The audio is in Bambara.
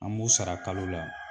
An b'u sara kalo la